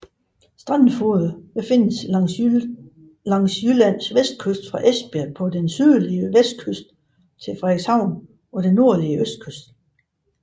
Strandfogeder findes langs Jyllands kyst fra Esbjerg på den sydlige vestkyst til Frederikshavn på den nordlige østkyst